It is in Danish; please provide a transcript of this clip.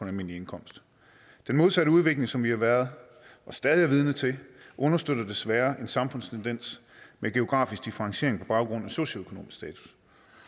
almindelig indkomst den modsatte udvikling som vi har været og stadig er vidne til understøtter desværre en samfundstendens med geografisk differentiering på baggrund af socioøkonomisk status